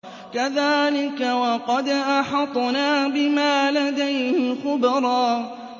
كَذَٰلِكَ وَقَدْ أَحَطْنَا بِمَا لَدَيْهِ خُبْرًا